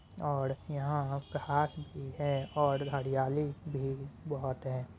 और यहाँ घास भी है और हरियाली भी बोहोत है।